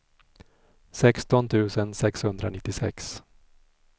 sexton tusen sexhundranittiosex